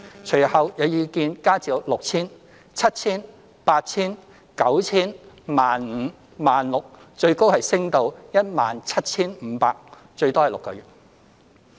隨後，有意見加至 6,000 元、7,000 元、8,000 元、9,000 元、15,000 元、16,000 元，最高升至 17,500 元，最多6個月。